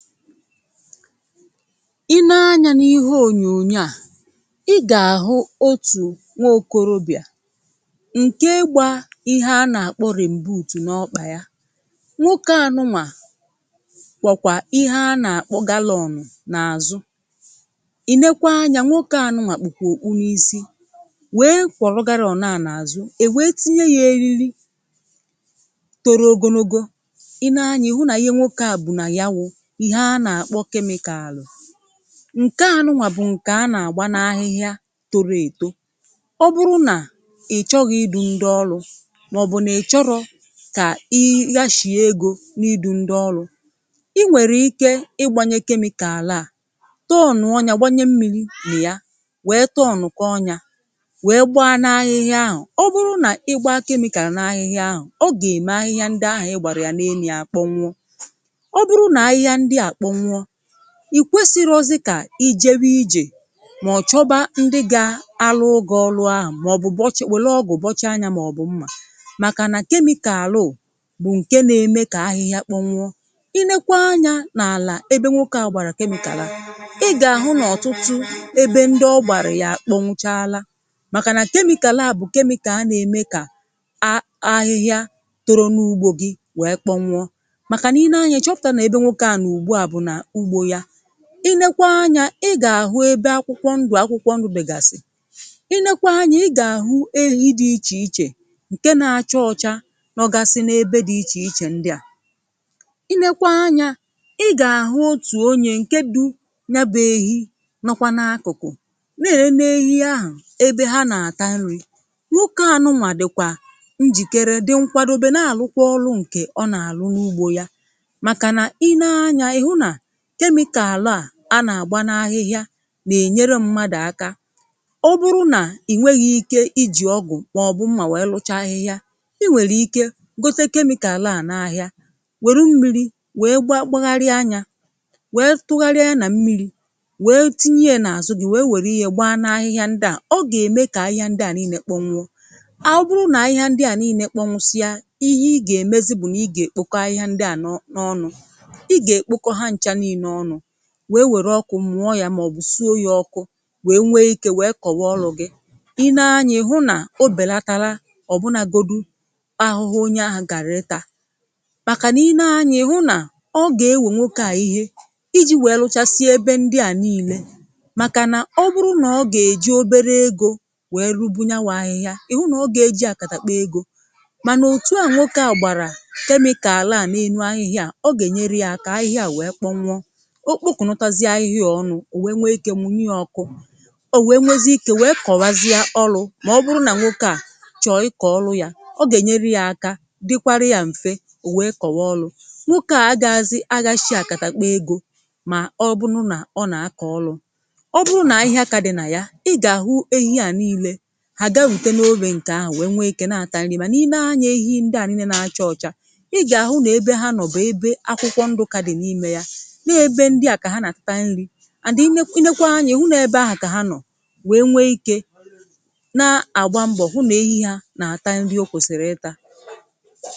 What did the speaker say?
Ị nee anya n’ihe ònyònyo à i gà-àhụ otù nwa okorobịà ǹke gba ihe anà-àkpọ rem̀buùtù n’ọkpà ya. Nwoke anụnwà kwọ̀kwà ihe anà-àkpọ galọnụ n’àzụ. Ị nekwaa anya nwoke anụnwà kpùkwa okpu n'isi wee kwọrọ galọnụ à n’àzụ è wèe tinye ya eriri toro ogologo. Ị nee anyȧ ị hụ nà ihe nwoke à bù nà ya wụ ihe ana-akpọ kemịkààlu ǹke anụnwà bụ̀ nke a na-àgba n’ahịhịa toro èto ọ bụrụ nà ị̀ choghị idu ndị ọlụ màọ̀bụ̀ nà ị chọrọ kà ị ghashìe egȯ n’idu ndị ọlụ ị nwèrè ike ịgbanye chemical a tọọnụ̀ọ nya gbanye mmiri na ya wee tọọnụkọọ nya wèe gba n’ahịhịa ahụ̀. Ọ bụrụ nà ịgbaa chemical n’ahịhịa ahụ̀ ọ gà-ème ahịhịa ndị ahụ̀ ị gbàrà yà na-enu ya àkpọnwụọ. Ọ bụrụ nà ahịhịa ndịa akpọnwụọ, ị kwesirọzị kà i jewe ijè mà ọ̀ chọba ndị ga arụụ gị ọlụ ahụ̀ màọ̀bụ̀ bọchị̀ wèle ọgụ̀ bọchaa nya màọ̀bụ̀ mmà, màkà nà kemịkaal ụ bụ̀ ǹke na-eme kà ahịhịa kpọnwụọ. Ị nekwa anya n’àlà ebe nwoke à gbàrà kemịkààl a, ị gà-àhụ n’ọ̀tụtụ ebe ndị ọgbàrà yà a kpọnwụchaala màkà nà kemịkààl à bụ̀ kemịkààl nà-eme kà a ahịhịa toro n’ugbo gị̇ wèe kpọnwụọ. Maka na ị nee anya ịchọpụta n'ebe nwoke a no ugbu à bụ n'ugbo ya. Ị neekwa anya ị gà-àhụ ebe akwụkwọ ndụ̀ akwụkwọ ndụ̀ bègàsì, ị neekwa anya ị gà-àhụ ehi̇ dị ichè ichè ǹke na-acha ọcha nọ̀gasi n’ebe dị ichè ichè ndị à. Ị neekwa anya ị gà-àhụ otù onye, ǹke dú ya bụ ehi nọkwa n’akụ̀kụ̀ na-enene ehi ahụ̀ ebe ha nà-àta nri. Nwoke ànụnwà dị̀kwà njìkere di nkwadobe na-àlụkwa ọlụ ǹkè ọ nà-àlụ n’ugbo ya, maka na ị nee anya ị hụ na kemịkààl à anà-àgba n’ahịhịa nà-ènyere mmadụ̀ aka. Ọ bụrụ nà ị̀ nweghi̇ ike ijì ọgụ̀ màọbụ̀ mmà wèe lụcha ahịhịa ị nwèlè ike gote kemịkààl a n’ahịa wère mmiri̇ wèe gba gbagharị nya wèe tụgharịa ya nà mmiri̇ wèe tinye ya n’àzụ gị̇ wèe wère ya gbaa n’ahịhịa ndị à; ọ gà-ème kà ahịhịa ndị à niine kpọnwụọ. Ọbụrụ nà ahịhịa ndị à niine kpọnwụsịa ihe ị gà-èmezi bùnà ị gà-èkpọkọ ahịhịa ndị à nọ n’ọnụ ị ga-ekpọkọ ha ncha niine ọnụ wèe wèrè ọkụ mụọ ya màọ̀bụ̀ sụo ya ọkụ wèe nwe ike wèe kọ̀wa ọlụ gị. Ị nee anya ị̀ hụ nà o bèlatara ọ̀ bụnagodu ahụhụ onye ahụ̀ gàrịtaa, màkà nà ị nee anya ị̀ hụ nà ọ gà-ewè nwoke à ihe iji̇ wèe lụchasịa ebe ndị à nii̇le màkà nà ọ bụrụ nà ọ gà-èji obere ego wèe rubu nyanwụ ahịhịa ị̀ hụ nà ọ gà-èji àkàtàkpa ego. Mànà òtù à nwoke à gbàrà chemical à n’elu ahịhịa à ọ gà-ènyere ya ahịhịa à wèe kpọnwụ. Ọkpokụ̀natazie ahịhịa ọnụ ò wèe nwee ike mụnyị ya ọkụ, ò wèe nwee ziike wèe kọ̀wazịa ọlụ màọbụrụ nà nwokė à chọ̀ọ ịkọ̀ ọlụ ya ọ gà-ènyere ya aka dịkwara ya m̀fe ò wèe kọ̀wa ọlụ. Nwoke à a gaghazị aghashi àkàtàkpa ègo mà ọbụrụ nà ọ nà-akọ̀ ọlụ. Ọ bụrụ nà ahịhịa kàdì nà ya ị gà-àhụ ehi à nii̇le hà ga rùte n’ofè ǹkè ahụ̀ wèe nwèe ike na-àtà nri̇, màna ị nee anya ehi ndị à niine nà-achọ ọ̀cha ị gà-àhụ nà ebe ha nọ̀ b'ebe akwụkwọ ndụ kà dì n’ime ya nọọ ebe ndịa ka ha na-ata nri and ị nekwa nekwaa anya, ị hụ na-ebe ahụ kà ha nọ wee nwe ike na-àgba mbọ̀ hụ na èhi hà nà-àta nri o kwèsìrì ịta.